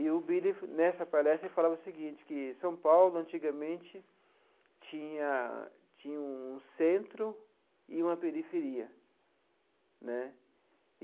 E o Billy, nessa palestra, ele falava o seguinte, que São Paulo, antigamente, tinha tinha um centro e uma periferia né.